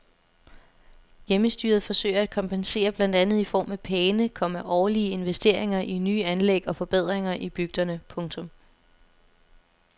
Hjemmestyret forsøger at kompensere blandt andet i form af pæne, komma årlige investeringer i nye anlæg og forbedringer i bygderne. punktum